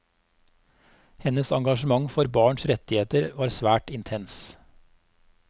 Hennes engasjement for barns rettigheter var svært intens.